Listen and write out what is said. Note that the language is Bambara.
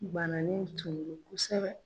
Banalen tun do kosɛbɛ.